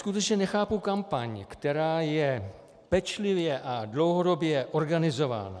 Skutečně nechápu kampaň, která je pečlivě a dlouhodobě organizována.